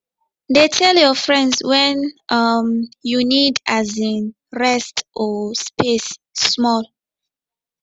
dey tell your friends when um you need um rest or space small